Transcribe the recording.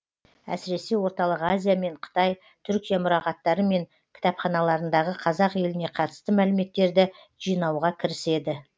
әсіресе орталық азия мен қытай түркия мұрағаттары мен кітапханаларындағы қазақ еліне қатысты мәліметтерді жинауға кіріседі